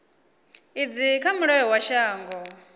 idzi kha mulayo wa shango